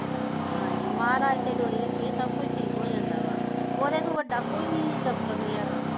ਹਾਂਜੀ ਮਹਾਰਾਜ ਤੇ ਡੋਰੀ ਰੱਖੀਏ ਸਭ ਠੀਕ ਹੋ ਜਾਂਦਾ ਵਾ ਉਹਦੇ ਤੋਂ ਵੱਡਾ ਕੋਈ ਡਾਕਟਰ ਨਹੀਂ ਹੈਗਾ